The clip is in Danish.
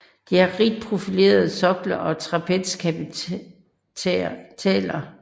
De har rigt profilerede sokler og trapezkapitæler